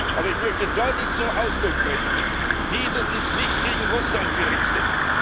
Aber ich möchte deutlich zum Ausdruck bringen Dies ist nicht gegen Russland gerichtet.